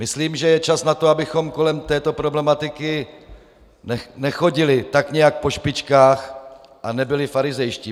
Myslím, že je čas na to, abychom kolem této problematiky nechodili tak nějak po špičkách a nebyli farizejští.